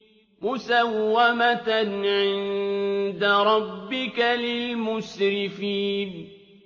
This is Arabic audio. مُّسَوَّمَةً عِندَ رَبِّكَ لِلْمُسْرِفِينَ